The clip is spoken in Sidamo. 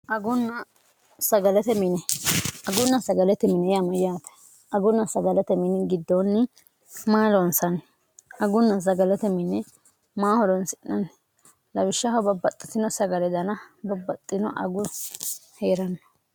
agunna sagalete mine yama yaate agunna sagalote mini giddoonni maaloonsanni agunna sagalote mini maa horonsi'nanni labishshaho babbaxxitino sagale dana babbaxxino agun hee'ranna